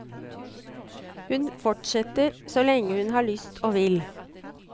Hun forsetter så lenge hun har lyst og vil.